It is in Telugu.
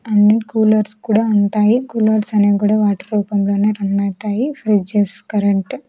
అన్ని కూలర్స్ కూడా ఉంటాయి కూలర్స్ అనేవి కూడా వాటి రూపంలోనే రన్ అవుతాయి ఫ్రిడ్జెస్ కరెంట్ --